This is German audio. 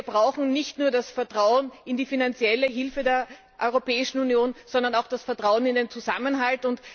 Denn wir brauchen nicht nur das Vertrauen in die finanzielle Hilfe der Europäischen Union, sondern auch das Vertrauen in den Zusammenhalt.